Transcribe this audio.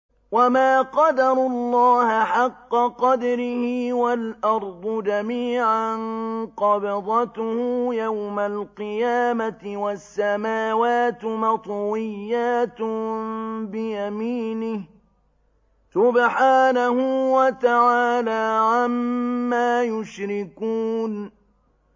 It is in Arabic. وَمَا قَدَرُوا اللَّهَ حَقَّ قَدْرِهِ وَالْأَرْضُ جَمِيعًا قَبْضَتُهُ يَوْمَ الْقِيَامَةِ وَالسَّمَاوَاتُ مَطْوِيَّاتٌ بِيَمِينِهِ ۚ سُبْحَانَهُ وَتَعَالَىٰ عَمَّا يُشْرِكُونَ